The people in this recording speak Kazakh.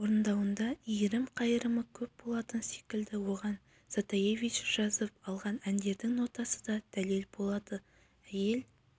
орындауында иірім-қайырымы көп болатын секілді оған затаевич жазып алған әндердің нотасы да дәлел болады әйел